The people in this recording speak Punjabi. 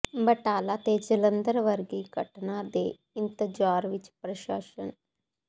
ਬਟਾਲਾ ਤੇ ਜਲੰਧਰ ਵਰਗੀ ਘਟਨਾ ਦੇ ਇੰਤਜਾਰ ਵਿਚ ਪ੍ਰਸ਼ਾਸਨ